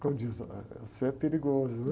Como diz, você é perigoso, né?